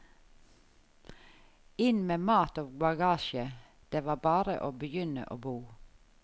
Inn med mat og bagasje, det var bare å begynne å bo.